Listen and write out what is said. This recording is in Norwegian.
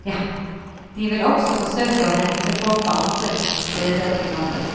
De vil også forsøke å hente folk fra andre steder i landet.